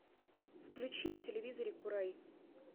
включи на телевизоре курай